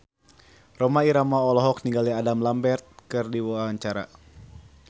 Rhoma Irama olohok ningali Adam Lambert keur diwawancara